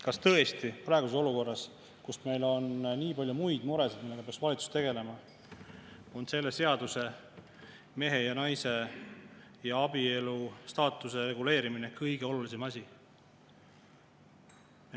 Kas tõesti praeguses olukorras, kus meil on nii palju muid muresid, millega peaks valitsus tegelema, on selle seaduse, mehe ja naise ja abielu staatuse reguleerimine kõige olulisem asi?